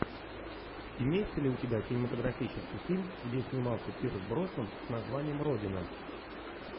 имеется ли у тебя кинематографический фильм где снимался пирс броснан с названием родина